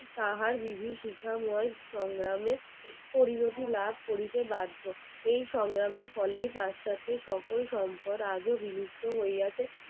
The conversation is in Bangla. তাহার বিভীষিকাময় সংগ্রাম পরিণতি লাভ করিতে বাধ্য এই সংগ্রামের ফলে তার সাথে সকল সম্পর্ক আজও বিলুপ্ত হইয়াছে